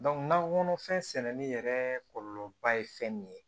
nakɔ kɔnɔfɛn sɛnɛni yɛrɛ kɔlɔlɔba ye fɛn min ye